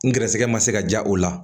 N gɛrɛsɛgɛ ma se ka diya o la